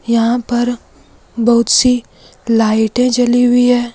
यहां पर बहुत सी लाइटे जली हुई है।